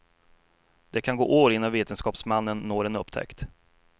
Det kan gå år innan vetenskapsmannen når en upptäckt.